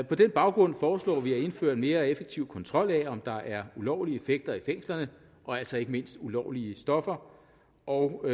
på den baggrund foreslår vi at indføre en mere effektiv kontrol af om der er ulovlige effekter i fængslerne og altså ikke mindst ulovlige stoffer og